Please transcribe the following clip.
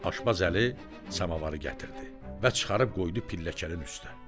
Aşbaz Əli samavarı gətirdi və çıxarıb qoydu pilləklənin üstə.